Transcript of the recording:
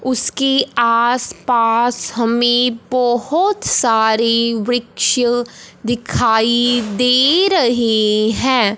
उसके आसपास हमे बहोत सारी वृक्ष दिखाई दे रहें हैं।